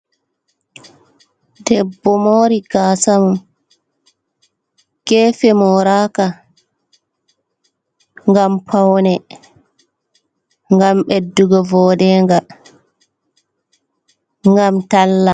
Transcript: Debbo mori gasamum, gefe moraka, ngam paune, ngam ɓeddugo voɗenga, ngam talla.